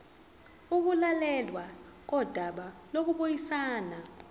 ukulalelwa kodaba lokubuyisana